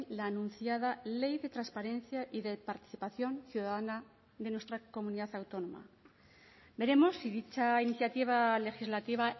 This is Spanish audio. la anunciada ley de transparencia y de participación ciudadana de nuestra comunidad autónoma veremos si dicha iniciativa legislativa